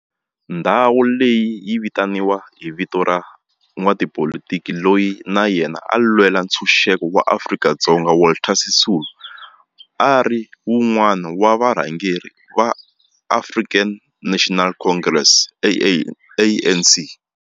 Ndhawo leyi yi vitaniwa hi vito ra n'watipolitiki loyi na yena a lwela ntshuxeko wa maAfrika-Dzonga Walter Sisulu, a ri wun'wana wa varhangeri va African National Congress ANC.